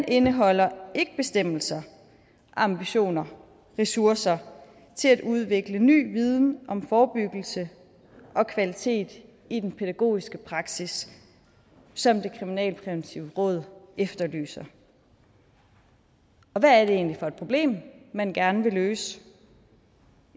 indeholder ikke bestemmelser ambitioner og ressourcer til at udvikle ny viden om forebyggelse og kvalitet i den pædagogiske praksis som det kriminalpræventive råd efterlyser og hvad er det egentlig for et problem man gerne vil løse